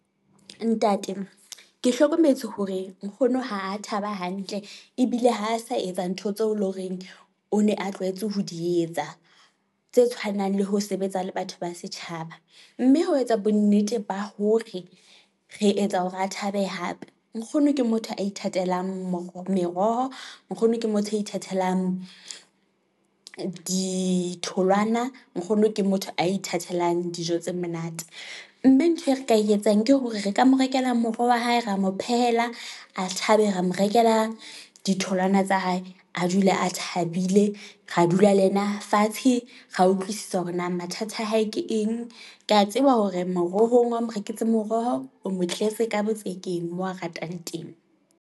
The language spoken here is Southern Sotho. Ntate ke hlokometse hore nkgono ha thaba hantle ebile ha sa etsa ntho tseo e leng horeng o ne a tlwaetse ho di etsa, tse tshwanang le ho sebetsa le batho ba setjhaba, mme ho etsa bonnete ba hore re etsa hore a thabe hape. Nkgono ke motho a ithatelang meroho, nkgono ke motho ya ithatelang ditholwana, nkgono ke motho a ithatelang dijo tse monate, mme ntho e re ka ye tsang ke hore re ka mo rekela moroho wa hae, ra mo phehela a thabe, ra mo rekela ditholwana tsa hae, a dula a thabile, ra dula le yena fatshe, ra utlwisisa hore na mathata a hae ke eng. Ke ya tseba hore merohong, ha o mo reketse moroho o mo tletse ka botsekeng moo a ratang teng.